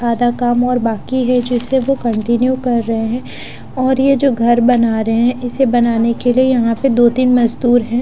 आधा काम और बाकी है जिसे वो कंटिन्यू कर रहे हैं और ये जो घर बना रहे हैं इसे बनाने के लिए यहां पे दो तीन मजदूर हैं।